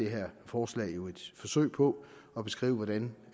her forslag er jo et forsøg på at beskrive hvordan